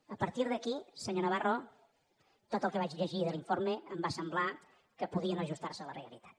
a partir d’aquí senyor navarro tot el que vaig llegir de l’informe em va semblar que podia no ajustar se a la realitat